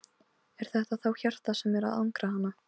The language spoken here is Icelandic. Er þetta þá hjartað sem er að angra hana?